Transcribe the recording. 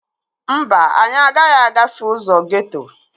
Mba, anyị agaghị agafe ụzọ geeto